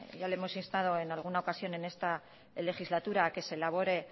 ya le hemos instando en alguna ocasión en esta legislatura que se elabore